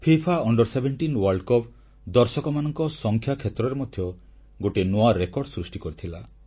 FIFA ଅଣ୍ଡର17 ବିଶ୍ୱ କପରେ ଦର୍ଶକମାନଙ୍କ ସଂଖ୍ୟା କ୍ଷେତ୍ରରେ ମଧ୍ୟ ଗୋଟିଏ ନୂଆ ରେକର୍ଡ ସୃଷ୍ଟି କରିଥିଲା